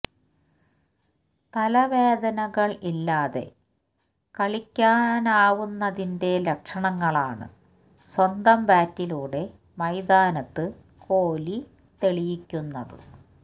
തലവേദനകള് ഇല്ലാതെ കളിക്കാനാവുന്നതിന്റെ ലക്ഷണങ്ങളാണ് സ്വന്തം ബാറ്റിലൂടെ മൈതാനത്ത് കോലി തെളിയിക്കുന്നത്